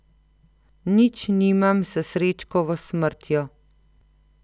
Nič nimam s Srečkovo smrtjo.